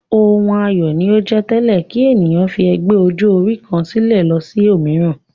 Ohun ayọ̀ ni ó jẹ́ tẹ́lẹ̀ kí ènìyàn fi ẹgbẹ́ ọjọ́-orí kan sílẹ̀ lọ sí òmíràn.